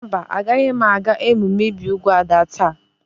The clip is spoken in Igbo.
Mba, Agaghị m aga emume ibi úgwù Ada taa.